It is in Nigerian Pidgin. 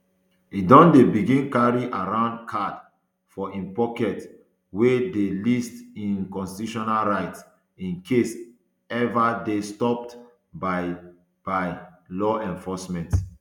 e don begin carry around card for im pocket wey dey list im constitutional rights in case ever dey stopped by by law enforcement